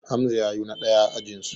Hamza ya yo na ɗaya a ajinsu